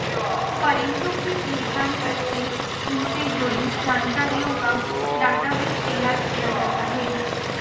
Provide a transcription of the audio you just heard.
परिंदों की पहचान करके इनसे जुड़ी जानकारियों का डाटाबेस तैयार किया जाता है